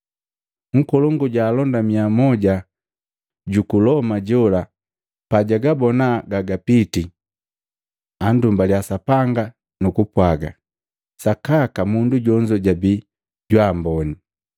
Nkolongu ja alonda miya moja juku Loma jola pajabona gagapiti, andumbaliya Sapanga nukupwaaga, “Sakaka mundu jonzo jabii jwaamboni.”